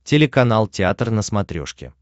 телеканал театр на смотрешке